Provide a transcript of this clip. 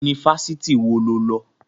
Yunifásitì wo lo lọ?